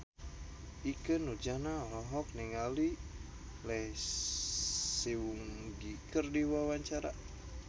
Ikke Nurjanah olohok ningali Lee Seung Gi keur diwawancara